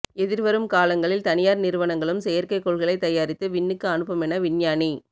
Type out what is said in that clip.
எதிர்வரும் காலங்களில் தனியார் நிறுவனங்களும் செயற்கை கோள்களை தயாரித்து விண்ணுக்கு அனுப்புமென விஞ்ஞானி